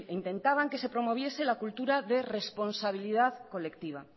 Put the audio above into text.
intentaban que se promoviese la cultura de responsabilidad colectiva